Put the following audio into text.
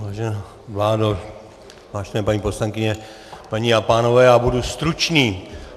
Vážená vládo, vážené paní poslankyně, paní a pánové, já budu stručný.